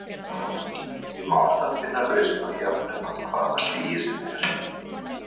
Því má alltaf finna lausn á jöfnum af hvaða stigi sem er.